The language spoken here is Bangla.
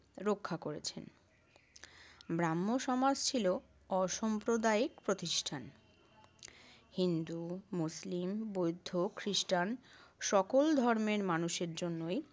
রক্ষা করেছেন। ব্রাহ্ম সমাজ ছিল অসাম্প্রদায়িক প্রতিষ্ঠান। হিন্দু, মুসলিম, বৌদ্ধ, খ্রিষ্টান সকল ধর্মের মানুষের জন্যই